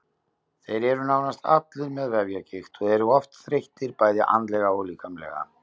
Þeir eru nánast allir með vefjagigt og eru oft þreyttir bæði andlega og líkamlega.